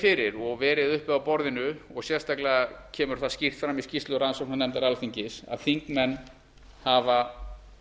fyrir og verið uppi á borðinu og sérstaklega kemur það skýrt fram í skýrslu rannsóknarnefndar alþingis að þingmenn hafa